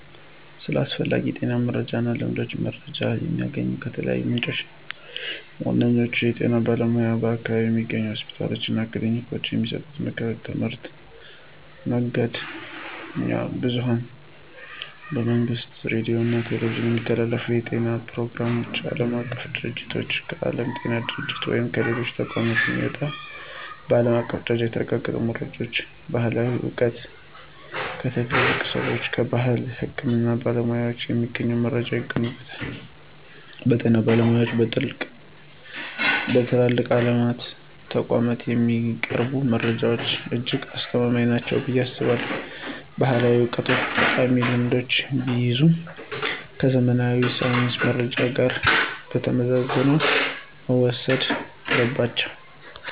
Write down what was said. ስለ አስፈላጊ የጤና መረጃዎችና ልማዶች መረጃ የማገኘው ከተለያዩ ምንጮች ነው። ዋነኛዎቹ፦ የጤና ባለሙያዎች በአካባቢው ከሚገኙ ሆስፒታሎችና ክሊኒኮች የሚሰጡ ምክሮችና ትምህርቶች፣ መገናኛ ብዙኃን በመንግሥት ሬዲዮና ቴሌቪዥን የሚተላለፉ የጤና ፕሮግራሞች፣ ዓለም አቀፍ ድርጅቶች: ከዓለም ጤና ድርጅት ወይም ከሌሎች ተቋማት የሚመጡ በዓለም አቀፍ ደረጃ የተረጋገጡ መረጃዎች፣ ባሕላዊ ዕውቀት: ከትልልቅ ሰዎችና ከባሕላዊ የሕክምና ባለሙያዎች የሚገኙ መረጃዎች ይገኙበታል። በጤና ባለሙያዎችና በትላልቅ ዓለም አቀፍ ተቋማት የሚቀርቡ መረጃዎች እጅግ አስተማማኝ ናቸው ብዬ አስባለሁ። ባሕላዊ ዕውቀቶችም ጠቃሚ ልምዶችን ቢይዙም፣ ከዘመናዊ የሳይንስ መረጃ ጋር ተመዝነው መወሰድ አለባቸው።